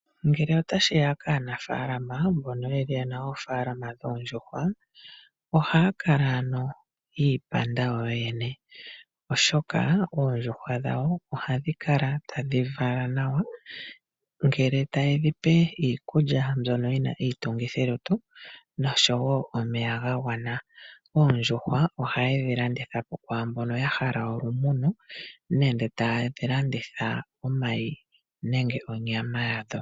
Ngele otashi ya kaanafalama mbono yena oofalama dhoondjuhwa, ohaya kala ano yiipanda yo yene. Oshoka oondjuhwa dhawo ohadhi kala tadhi vala nawa. Ngele taye dhipe iikulya mbyono yina iitungithilutu noshowo omeya ga gwana. Oondjuhwa ohaye dhi landitha po kwaambono ya hala olumuno, nenge taye dhi landitha omayi nenge onyama yadho.